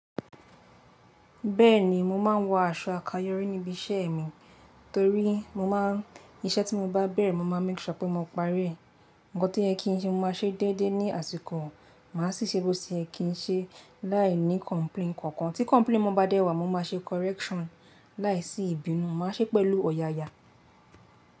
Bẹ́ẹ̀ni, mo máa ń wọ aṣọ àkayọrí níbi iṣẹ́ mi torí mo má ń, iṣẹ́ tí mo bá bẹ̀rẹ̀ mo máa make sure pé mo parí i. Ǹkan to ye kin ń ṣe mo máa ṣe déédé ní àsìkò, màá sì ṣe bó se ye kin ṣe láì ní complain kankan. Tí complain bá dẹ́wàá mo máa ṣe correction láìsí ìbínú, màá ṣe pẹ̀lú ọ̀yàyà.